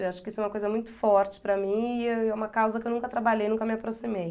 E eu acho que isso é uma coisa muito forte para mim e é uma causa que eu nunca trabalhei, nunca me aproximei.